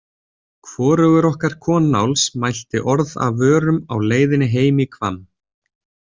Hvorugur okkar Konáls mælti orð af vörum á leiðinni heim í Hvamm.